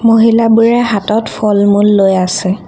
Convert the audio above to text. মহিলাবোৰে হাতত ফল-মূল লৈ আছে।